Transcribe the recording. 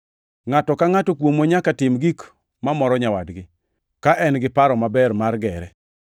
Ngʼato ka ngʼato kuomwa nyaka tim gik mamoro nyawadgi, ka en gi paro maber mar gere.